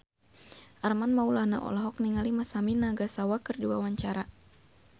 Armand Maulana olohok ningali Masami Nagasawa keur diwawancara